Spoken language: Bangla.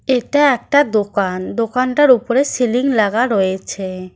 এটা একটা দোকান দোকানটার উপরে সিলিং লাগা রয়েছে।